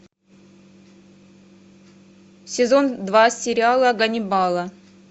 сезон два сериала ганнибала